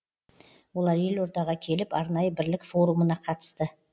олар елордаға келіп арнайы бірлік форумына қатысты